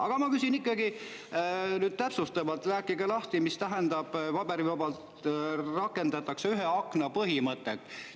Aga ma ikkagi küsin nüüd täpsustavalt, rääkige lahti, mida tähendab, et paberivabalt rakendatakse ühe akna põhimõtet.